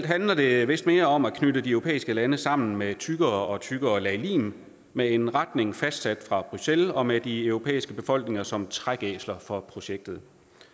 handler det vist mere om at knytte de europæiske lande sammen med et tykkere og tykkere lag lim med en retning fastsat fra bruxelles og med de europæiske befolkninger som trækæsler for projektet